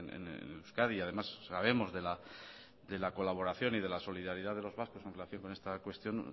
en euskadi y además sabemos de la colaboración y de la solidaridad de los vascos en relación con esta cuestión